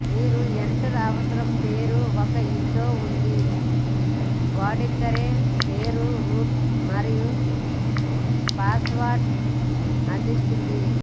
మీరు ఎంటర్ అవసరం పేరు ఒక విండో ఉంది వాడుకరిపేరు రూట్ మరియు పాస్వర్డ్ అందించిన